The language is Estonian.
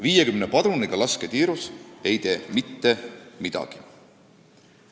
50 padruniga ei tee lasketiirus mitte midagi.